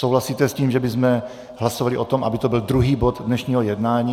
Souhlasíte s tím, že bychom hlasovali o tom, aby to byl druhý bod dnešního jednání?